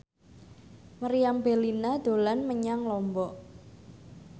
Meriam Bellina dolan menyang Lombok